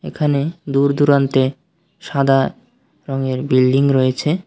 এখানে দূর-দূরান্তে সাদা রঙের বিল্ডিং রয়েছে।